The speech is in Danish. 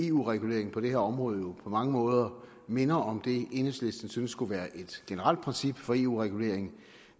eu reguleringen på det her område på mange måder minder om det enhedslisten synes skulle være et generelt princip for eu regulering